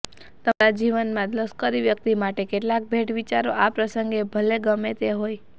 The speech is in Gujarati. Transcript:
તમારા જીવનમાં લશ્કરી વ્યકિત માટે કેટલાક ભેટ વિચારો આ પ્રસંગે ભલે ગમે તે હોય